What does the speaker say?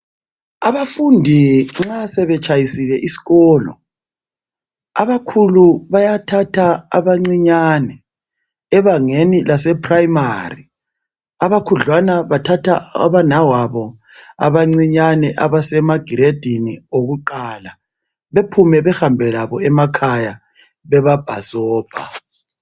Abafundi nxa sebetshayisile isikolo abakhulu bayathatha abancinyane ebangeni lase "primary" abakhudlwana bathatha abanawabo abancinyane abasema "grade" okuqala bephume behambe labo emakhaya bebabhasopa.